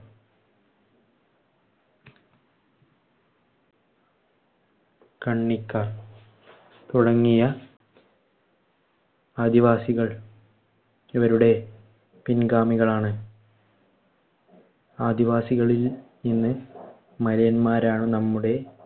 കണ്ണിക്കാർ തുടങ്ങിയ ആദിവാസികൾ ഇവരുടെ പിൻഗാമികളാണ്. ആദിവാസികളിൽ ഇന്ന് മലയന്മാരാണ് നമ്മുടെ